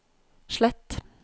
slett